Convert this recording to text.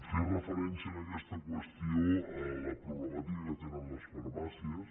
fer referència en aquesta qüestió a la problemàtica que tenen les farmàcies